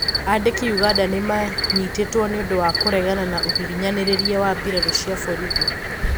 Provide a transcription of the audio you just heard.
Andiki Uganda nimanyitetwo niundũ wa kũregana na ũhinyanĩrĩria wa mbirarũ cia borithi